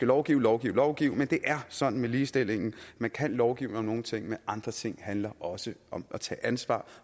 lovgive lovgive lovgive men det er sådan med ligestillingen man kan lovgive om nogle ting men andre ting handler også om at tage ansvar